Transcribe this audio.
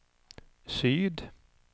syd